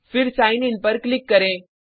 फिर sign in पर click करें